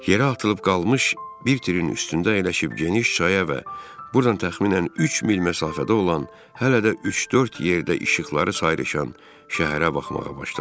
Yerə atılıb qalmış bir tirin üstündə əyləşib geniş çaya və burdan təxminən üç mil məsafədə olan hələ də üç-dörd yerdə işıqları sayrışan şəhərə baxmağa başladım.